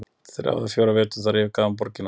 Eftir þrjá eða fjóra vetur þar yfirgaf hann borgina.